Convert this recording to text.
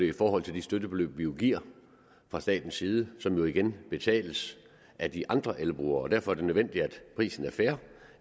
i forhold til de støttebeløb vi giver fra statens side som jo igen betales af de andre elbrugere og derfor er det nødvendigt at prisen er fair